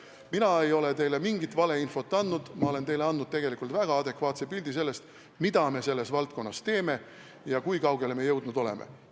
Mina ei ole teile mingit valeinfot andnud, ma olen teile andnud tegelikult väga adekvaatse pildi sellest, mida me selles valdkonnas teeme ja kui kaugele me jõudnud oleme.